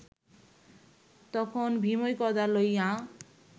তখন ভীমই গদা লইয়া